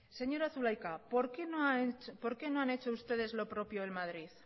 señora zulaika por qué no han hecho ustedes lo propio en madrid